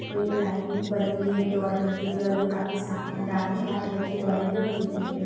Play line बनी हुई है दौड़ने के लिए और यह काफी साफ मैदान है जहां पे बच्चे दौड़ेंगे और जीतेंगे।